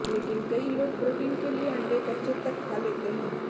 लेकिन कई लोग प्रोटीन के लिए अंडे कच्चे तक खा लेते हैं